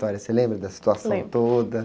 Você lembra da situação toda?embro.